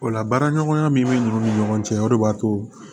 O la baaraɲɔgɔnya min bɛ ninnu ni ɲɔgɔn cɛ o de b'a to